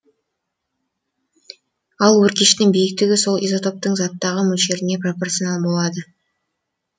ал өркештің биіктігі сол изотоптың заттағы мөлшеріне пропорционал болады